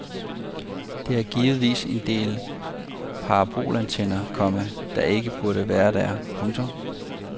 Der er givetvis en del parabolantenner, komma der ikke burde være der. punktum